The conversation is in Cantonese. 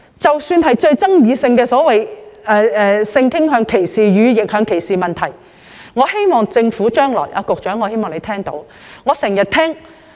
關於極具爭議性的性傾向歧視及逆向歧視問題，我希望局長聽到我的意見。